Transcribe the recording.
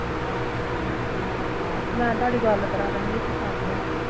ਮੈਂ ਤੁਹਾਡੀ ਗੱਲ ਕਰਾਦਾਂਗੀ ਤੁਸੀਂ ਕਰ ਲਿਉ